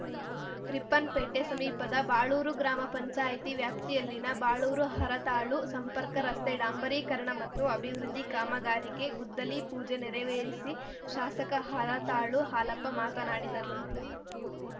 ರಿಪ್ಪನ್‌ಪೇಟೆ ಸಮೀಪದ ಬಾಳೂರು ಗ್ರಾಮ ಪಂಚಾಯಿತಿ ವ್ಯಾಪ್ತಿಯಲ್ಲಿನ ಬಾಳೂರುಹರತಾಳು ಸಂಪರ್ಕ ರಸ್ತೆ ಡಾಂಬರೀಕರಣ ಮತ್ತು ಅಭಿವೃದ್ಧಿ ಕಾಮಗಾರಿಗೆ ಗುದ್ದಲಿ ಪೂಜೆ ನೆರವೇರಿಸಿ ಶಾಸಕ ಹರತಾಳು ಹಾಲಪ್ಪ ಮಾತನಾಡಿದರು